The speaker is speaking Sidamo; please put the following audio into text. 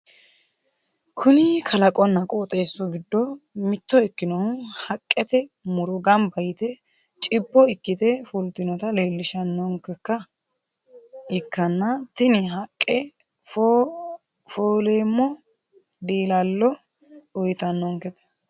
Kuni kalaqonna qoxeessu goddo mitto ikkinohu haqqete muro gamba yite chibbo ikkite fultinota leelishshannonkeha ikkanna tini haqqe fooleemmo diilallo uyiitannonkete.